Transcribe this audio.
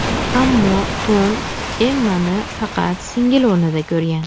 Ammo Tom Emmani faqat singil o‘rnida ko‘rgan.